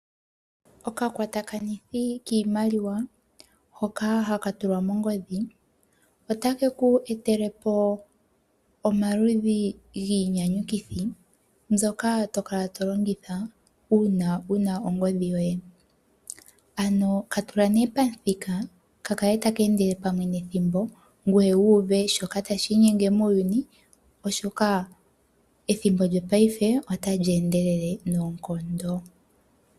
Okakwatakanithi kiimaliwa hoka haka tulwa mongodhi, otake ku etelepo omaludhi giinyanyukithi mbyoka tokala tolongitha uuna wuna ongodhi yoye. Ano katula pamuthika kakale taka endele pamwe nethimbo ngoye wuuve shoka tashi inyenge muuyuni, oshoka ethimbo lyopaife otali endelele noonkondo.